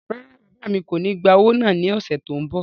Rárá, bàbá mi kò ní gba owó náà l'ọ́ṣẹ́ tó n bọ̀